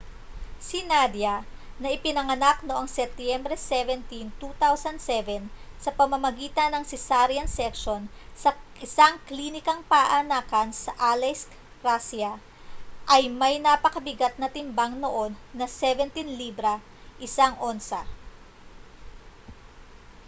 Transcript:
si nadia na ipinanganak noong setyembre 17 2007 sa pamamagitan ng cesarean section sa isang klinikang paanakan sa aleisk russia ay may napakabigat na timbang noon na 17 libra 1 onsa